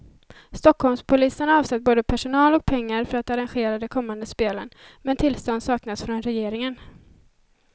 Stockholmspolisen har avsatt både personal och pengar för att arrangera de kommande spelen, men tillstånd saknas från regeringen.